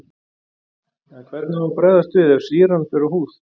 En hvernig á að bregðast við ef sýran fer á húð?